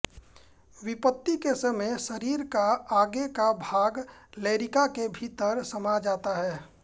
विपत्ति के समय शरीर का आगे का भाग लौरिका के भीतर समा जाता हैं